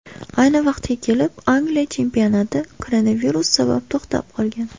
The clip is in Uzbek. Ayni vaqtga kelib Angliya chempionati koronavirus sabab to‘xtab qolgan.